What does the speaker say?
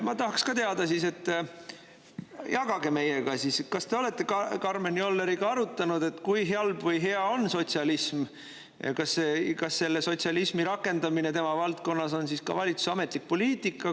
" Ma tahaks ka teada, jagage meiega siis, kas te olete Karmen Jolleriga arutanud, et kui halb või hea on sotsialism, ja kas selle sotsialismi rakendamine tema valdkonnas on siis ka valitsuse ametlik poliitika.